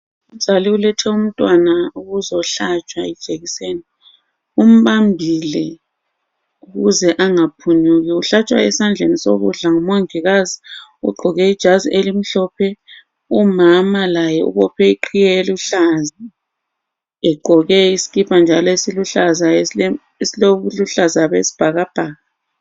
Umzali ulethe umntwana ukuzohlatshwa ijekiseni. Umbambile ukuze angaphunyuki. Kuhlatshwa esandleni sokudla ngumongikazi ogqoke ijazi elimhlophe. Umama laye ubophe iqhiye eluhlaza egqoke isikipa njalo esiluhlaza esilobuhlaza besibhakabhaka.